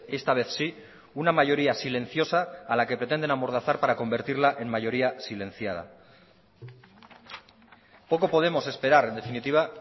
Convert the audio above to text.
esta vez sí una mayoría silenciosa a la que pretenden amordazar para convertirla en mayoría silenciada poco podemos esperar en definitiva